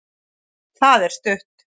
það er stutt